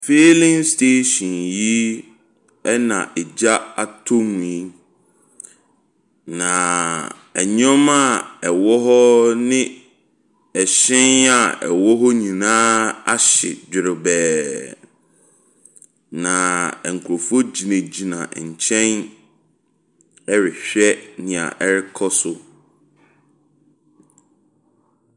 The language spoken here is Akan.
Filling station yi ɛna agya atɔ mu yi, na nnoɔma a ɛwɔ hɔ ne ɛhyɛn a ɛwɔ hɔ nyinaa ahye dwerebɛɛ. N nkorɔfoɔ gyinagyina nkyɛn ɛrehwɛ deɛ ɔrekɔ so.